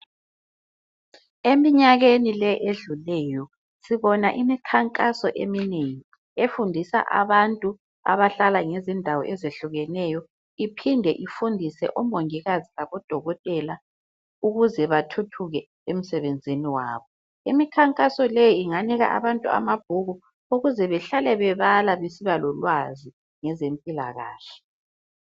Eminyakeni le edluleyo sibona imikhankaso eminengi efundisa abantu abahlala ngezindawo ezehlukeneyo iphinde ifundisa omongikazi labodokotela ukuze bathuthuke emsebenzini wabo. Imikhankaso leyi inganika abantu amabhuku ukuze behlale bebala besibalolwazi ngezempilakahle.